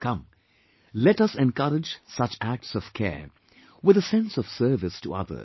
Come, let us encourage such acts of care with a sense of service to others